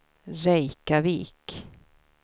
Reykjavik